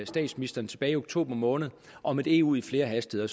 statsministeren tilbage i oktober måned om et eu i flere hastigheder